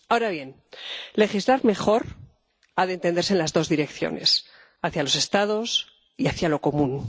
Ahora bien, legislar mejor ha de entenderse en las dos direcciones hacia los Estados y hacia lo común.